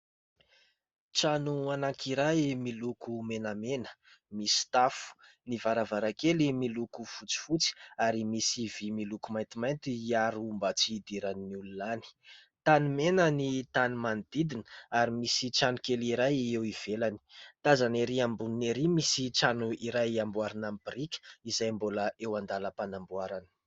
Trano anankiray miloko menamena. Misy tafo, ny varavarankely miloko fotsifotsy ary misy vy miloko maintimainty hiaro mba tsy hidiran'ny olona any. Tany mena ny tany manodidina ary misy tranokely iray eo ivelany. Tazana erỳ amboniny erỳ misy trano iray amboarina amin'ny y biriky izay mbola eo an-dalam-panamboarana.